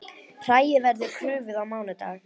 Hræið verður krufið á mánudag